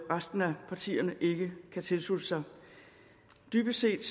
resten af partierne ikke kan tilslutte sig dybest set